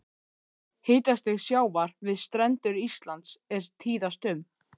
Hitastig sjávar við strendur Íslands er tíðast um